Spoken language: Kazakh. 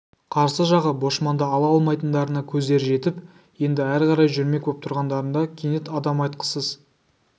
қарсы жағы бошманды ала алмайтындарына көздері жетіп енді әрі қарай жүрмек боп тұрғандарында кенет адам айтқысыз